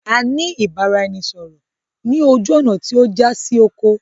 A ní ìbáraẹnisọọ̀rọ̀ ni ojú ọ́ná tí ó já sí oko.